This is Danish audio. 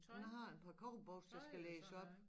Jeg har en par cowboybukser der skal lægges op